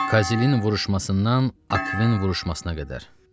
Kazilinin vuruşmasından Akvin vuruşmasına qədər.